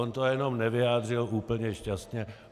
On to jenom nevyjádřil úplně šťastně.